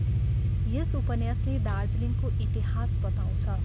यस उपन्यासले दार्जिलिङको इतिहास बताउँछ।